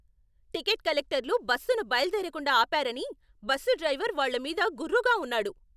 Ticket కలెక్టర్లు బస్సును బయలుదేరకుండా ఆపారని బస్సు డ్రైవర్ వాళ్ళ మీద గుర్రుగా ఉన్నాడు.